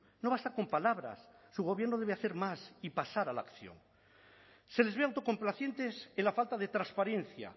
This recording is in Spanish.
no basta con palabras su gobierno debe hacer más y pasar a la acción se les ve autocomplacientes en la falta de transparencia